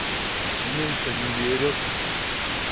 а меньше не берёт